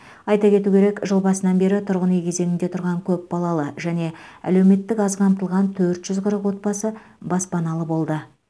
айта кету керек жыл басынан бері тұрғын үй кезегінде тұрған көпбалалы және әлеуметтік аз қамтылған төрт жүз қырық отбасы баспаналы болды